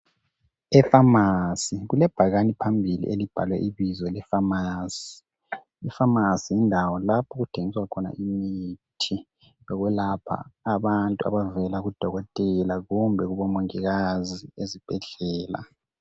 Efamasi kulebhakane phambili elibhalwe ibizo lefamasi. Ifamasi yindawo lapho okuthengiswa khona imithi yokwelapha abantu abavela kubodokotela kumbe kubomongikazi ezibhedlela.